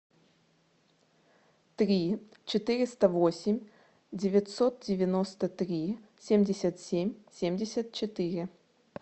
три четыреста восемь девятьсот девяносто три семьдесят семь семьдесят четыре